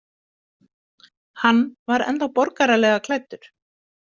Hann var ennþá borgaralega klæddur.